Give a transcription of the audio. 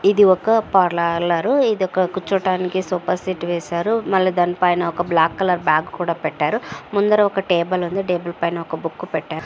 ఇదిఒక పర్లాలరు ఇదొక కూర్చోటానికి సోఫా సెట్ వేసారు మల్ల దానిపైన ఒక బ్లాక్ కలర్ బాగ్ కూడ పెట్టారు ముందర ఒక టేబుల్ ఉంది టేబుల్ పైన ఒక బుక్ పెట్టారు.